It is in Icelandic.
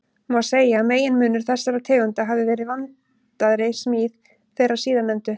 Má segja að meginmunur þessara tegunda hafi verið vandaðri smíð þeirra síðarnefndu.